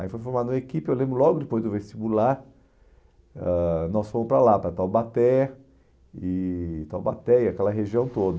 Aí foi formado uma equipe, eu lembro logo depois do vestibular, ãh nós fomos para lá, para Taubaté e Taubaté e aquela região toda.